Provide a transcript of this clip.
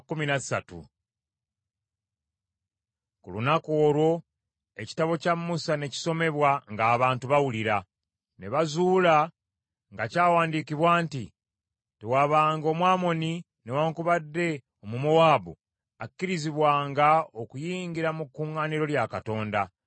Ku lunaku olwo, Ekitabo kya Musa ne kisomebwa ng’abantu bawulira, ne bazuula nga kyawandiikibwa nti tewabanga Omwamoni newaakubadde Omumowaabu akkirizibwanga okuyingira mu kuŋŋaaniro lya Katonda,